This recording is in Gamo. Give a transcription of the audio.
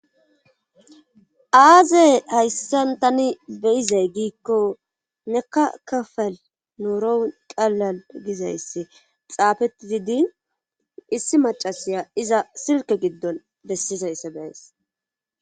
aaze hayssan tani beyizay giikko nekka kafal nuurou qallal gizaysse xaafetidi din issi macasiya iza silke giddon bessizayssa beyas